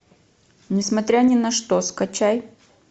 несмотря ни на что скачай